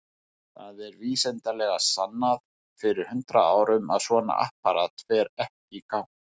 Það var vísindalega sannað fyrir hundrað árum að svona apparat fer ekki í gang.